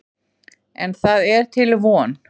En það er til von.